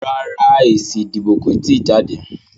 Rárá, èsì ìdìbò kò tíì jáde